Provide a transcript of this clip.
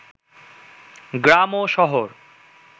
গ্রাম ও শহর